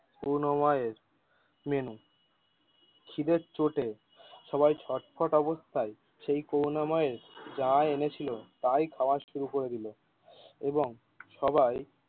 করুনাময়ের menu খিদের চোটে সবাই ছটপট অবস্থায় সেই করুনাময়ের যা এনেছিল তাই খাওয়া শুরু করে দিলো এবং সবাই।